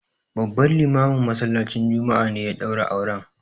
Babban limamin masallacin juma'a ne ya ɗaura auren.